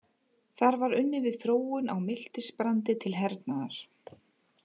Þar var unnið við þróun á miltisbrandi til hernaðar.